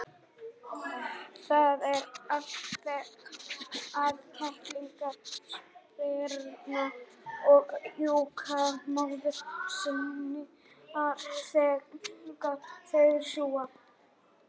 Það er alþekkt að kettlingar spyrna í júgur móður sinnar þegar þeir sjúga.